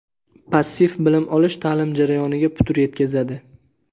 Passiv bilim olish ta’lim jarayoniga putur yetkazadi.